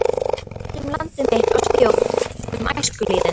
Ég ræddi um land mitt og þjóð, um æskulýðinn.